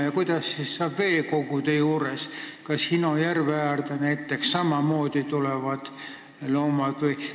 Ja kuidas hakkab olema veekogude juures, näiteks Hino järve äärde ju samamoodi tulevad loomad?